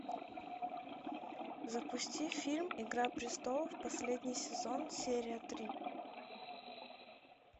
запусти фильм игра престолов последний сезон серия три